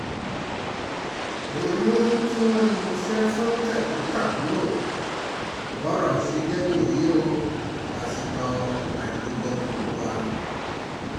oyún tí wọ́n ní mo ṣe fún tẹ̀gbọ́n-tàbúrò bọ́rọ̀ ṣe jẹ́ nìyí o nìyí o pásítọ̀ ajígbọ́tọ́lùwà